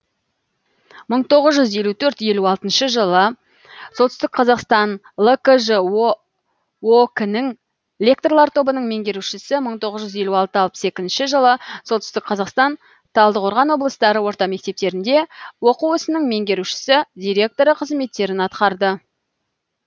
мың тоғыз жүз елту төрт елу алтыншы жылы солтүстік қазақстан лкжо ок нің лекторлар тобының меңгерушісі мың тоғыз жүз елу екі алпыс екінші жылы солтүстік қазақстан талдықорған облыстары орта мектептерінде оқу ісінің меңгерушісі директоры қызметтерін атқарды